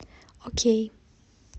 окей